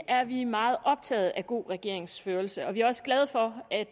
er vi meget optagede af god regeringsførelse og vi er også glade for at